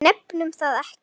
Nefnum það ekki.